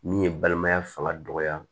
Min ye balimaya fanga dɔgɔya